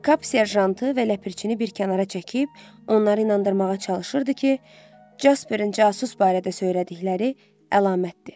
Kap serjantı və ləpirçini bir kənara çəkib onları inandırmağa çalışırdı ki, Casperin casus barədə söylədikləri əlamətdir.